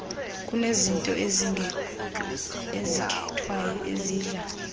kunezinto ezikhethwayo ezidla